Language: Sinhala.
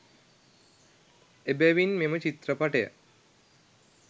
එබැවින් මෙම චිත්‍රපටය